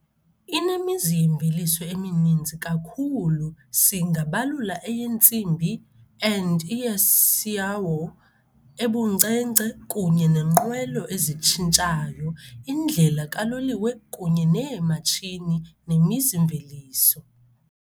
Inemizi yemveliso emininzi kakhulu singabalula eyentsimbi and iacciaio ebunkcenkce kunye nenqwelo ezitshintshayo, indlela kaloliwe kunye neematshini nemizi-mveliso.